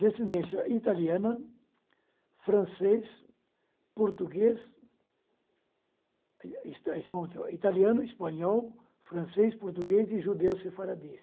Descendência italiana, francês, português, es es italiano, espanhol, francês, português e judeu sefardita.